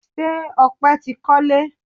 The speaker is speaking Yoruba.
Ṣé Ọpẹ tí kọle?